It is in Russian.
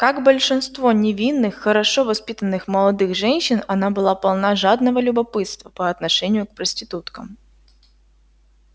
как большинство невинных хорошо воспитанных молодых женщин она была полна жадного любопытства по отношению к проституткам